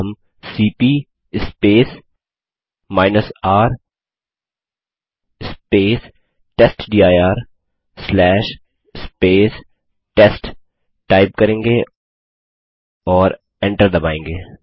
अब हम cp R testdir test type करेंगे और एंटर दबायेंगे